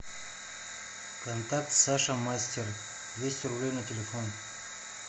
контакт саша мастер двести рублей на телефон